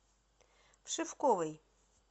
вшивковой